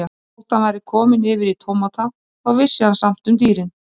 Og þótt hann væri kominn yfir í tómata þá vissi hann samt um dýrin.